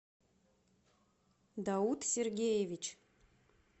дауд сергеевич